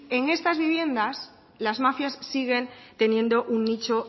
en estas viviendas las mafias siguen teniendo un nicho